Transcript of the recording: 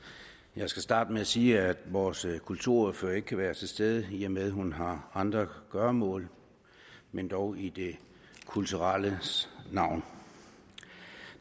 jeg skal starte med at sige at vores kulturordfører ikke kan være til stede i og med at hun har andre gøremål men dog i det kulturelles navn